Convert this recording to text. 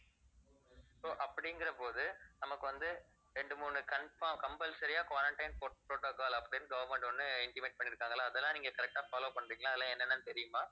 so அப்படிங்கறபோது நமக்கு வந்து ரெண்டு மூணு confo~ compulsory யா quarantine po~ protocol அப்படினு government ஒண்ணு intimate பண்ணிருக்காங்கல்ல அதெல்லாம் நீங்க correct ஆ follow பண்றீங்களா அதெல்லாம் என்னன்னு தெரியுமா